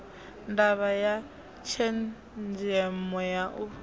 ndavha ya tshenzemo ya u